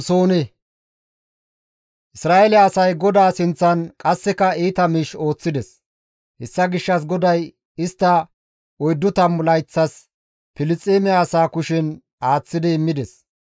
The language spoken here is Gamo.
Isra7eele asay GODAA sinththan qasseka iita miish ooththides. Hessa gishshas GODAY istta oyddu tammu layththas Filisxeeme asaa kushen aaththi immides.